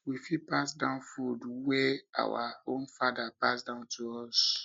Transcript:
we fit pass down food wey our own father pass down to us